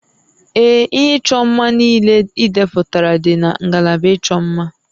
Ee, ihe ịchọ mma niile idepụtara dị na ngalaba ịchọ mma